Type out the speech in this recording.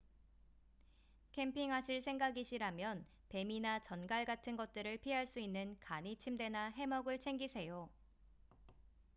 캠핑하실 생각이시라면 뱀이나 전갈 같은 것들을 피할 수 있는 간이침대나 해먹을 챙기세요